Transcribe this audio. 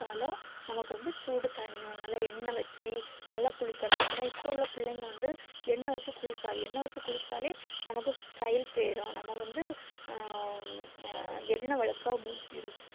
குளிச்சாலும் நமக்கு வந்து சூடு தனியும் நல்ல எண்ண வச்சி நல்லா குளிக்கணும் அனா இப்போ உள்ள பிள்ளைங்க வந்து எண்ண வச்சி குளிக்காது எண்ண வச்சி குளிச்சாலே நமக்கு style போய்றும் நம்ம வந்து எண்ண வலுக்க முச்சி இருக்கும்